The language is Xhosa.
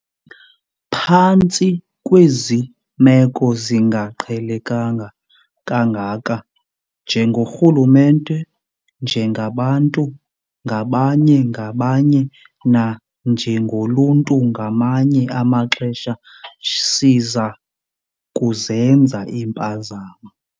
Phantsi kwezi meko zingaqhelekanga kangaka, njengorhulumente, njengabantu ngabanye-ngabanye nanjengoluntu ngamanye amaxesha siza kuzenza iimpazamo.